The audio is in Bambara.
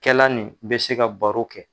Kɛla nin bɛ se ka baro kɛ.